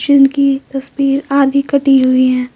जिनकी तस्वीर आधी कटी हुई है।